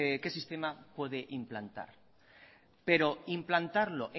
qué sistema puede implantar pero implantarlo